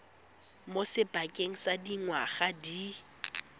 mo sebakeng sa dingwaga di